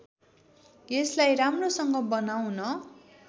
यसलाई राम्रोसँग बनाउन